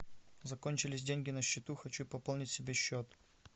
закончились деньги на счету хочу пополнить себе счет